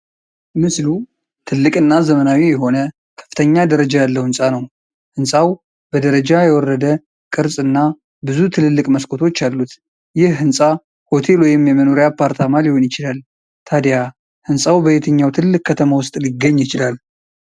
ምስሉ ትልቅና ዘመናዊ የሆነ ከፍተኛ ደረጃ ያለው ሕንፃ ነው፤ ሕንፃው በደረጃ የወረደ ቅርጽና ብዙ ትልልቅ መስኮቶች አሉት። ይህ ሕንፃ ሆቴል ወይም የመኖሪያ አፓርታማ ሊሆን ይችላል፤ ታዲያ ሕንፃው በየትኛው ትልቅ ከተማ ውስጥ ሊገኝ ይችላል?